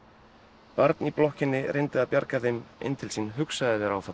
barn í blokkinni reyndi að bjarga þeim inn til sín hugsaðu þér áfallið